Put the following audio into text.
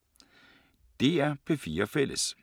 DR P4 Fælles